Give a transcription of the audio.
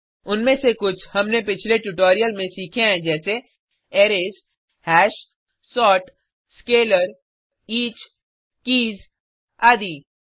उनमें से कुछ हमने पिछले ट्यूटोरियल में सीखे हैं जैसे arrays hash sort scalar each keys आदि